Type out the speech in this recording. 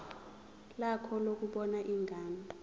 lakho lokubona ingane